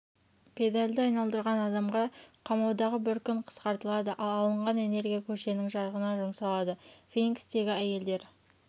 педальды айналдырған адамға қамаудағы бір күні қысқартылады ал алынған энергия көшенің жарығына жұмсалады феникстегі әйелдер